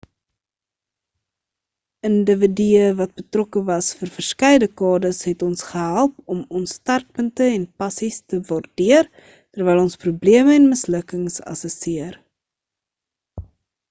individue wat betrokke was vir verskeie dekades het ons gehelp om ons sterkpunte en passies te waardeer terwyl ons probleme en mislukkings assesseer